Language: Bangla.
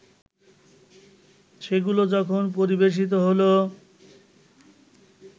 সেগুলো যখন পরিবেশিত হলো